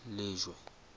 lejwe